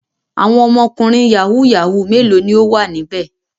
Àwọn ọmọkùnrin yahoo yahoo mélòó ni ó wà níbẹ̀?